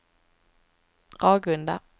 Ragunda